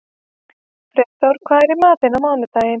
Freyþór, hvað er í matinn á mánudaginn?